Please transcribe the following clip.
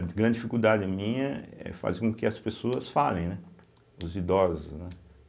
A grande dificuldade minha é fazer com que as pessoas falem, né, os idosos, né.